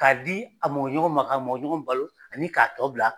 K'a di a mɔgɔ ɲɔgɔn ma, ka mɔgɔ ɲɔgɔn balo ani k'a tɔ bila